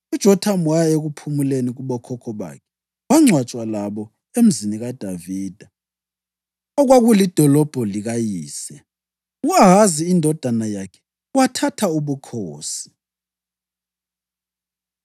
UJothamu waya ekuphumuleni kubokhokho bakhe wangcwatshwa labo eMzini kaDavida, okwakulidolobho likayise. U-Ahazi indodana yakhe wathatha ubukhosi.